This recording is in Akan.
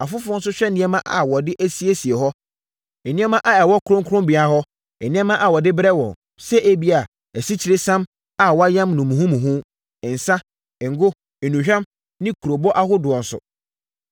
Afoforɔ nso hwɛ nneɛma a wɔde asiesie hɔ, nneɛma a ɛwɔ kronkronbea hɔ, nneɛma a wɔde brɛ wɔn, sɛ ebia, asikyiresiam a wɔayam no muhumuhu, nsã, ngo, nnuhwam ne kurobo ahodoɔ so.